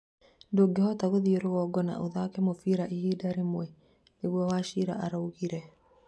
ndungihota gũthiĩ rũgongo na ũthake mũbĩra ihinda rĩmwe," nĩguo wachira araugire